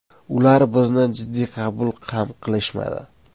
Ular bizni jiddiy qabul ham qilishmadi.